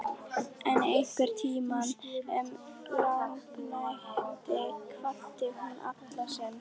En einhvern tíma um lágnættið kvaddi hún Alla sinn.